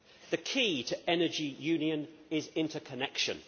The key to Energy Union is interconnection.